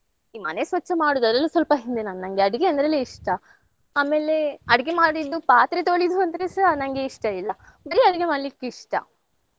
ಈ ಮನೆ ಸ್ವಚ್ಛ ಮಾಡೋದು ಅದ್ರಲ್ಲೆಲ್ಲ ಸ್ವಲ್ಪ ಹಿಂದೆ ನಾನು ನಂಗೆ ಅಡ್ಗೆ ಅಂದ್ರೆಲೇ ಇಷ್ಟ. ಆಮೇಲೆ ಅಡ್ಗೆ ಮಾಡಿದ್ದು ಪಾತ್ರೆ ತೊಳಿಯುದು ಅಂದ್ರೆಸ ನಂಗೆ ಇಷ್ಟ ಇಲ್ಲ ಬರೀ ಅಡ್ಗೆ ಮಾಡ್ಲಿಕ್ಕೆ ಇಷ್ಟ.